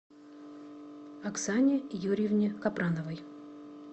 оксане юрьевне капрановой